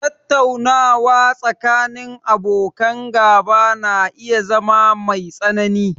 Tattaunawa tsakanin abokan gaba na iya zama mai tsanani